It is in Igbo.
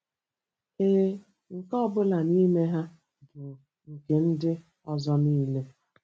Ee, nke ọ bụla n'ime ha bụ nke ndị ọzọ niile.